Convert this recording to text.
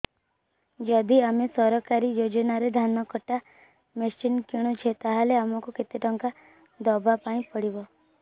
ଯଦି ଆମେ ସରକାରୀ ଯୋଜନାରେ ଧାନ କଟା ମେସିନ୍ କିଣୁଛେ ତାହାଲେ ଆମକୁ କେତେ ଟଙ୍କା ଦବାପାଇଁ ପଡିବ